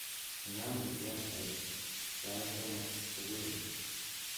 Inam kifyonsit sai somok subui